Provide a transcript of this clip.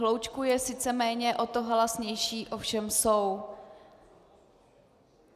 Hloučků je sice méně, o to halasnější ovšem jsou.